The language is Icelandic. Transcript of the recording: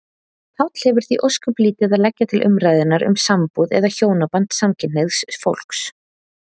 Páll hefur því ósköp lítið að leggja til umræðunnar um sambúð eða hjónaband samkynhneigðs fólks.